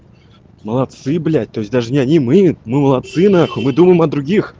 молодцы блять то есть даже не одни мы мы молодцы нахуй мы думаем о других